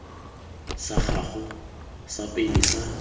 sa gago sa pele sa